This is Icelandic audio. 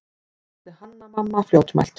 spurði Hanna-Mamma fljótmælt.